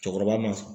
Cɛkɔrɔba ma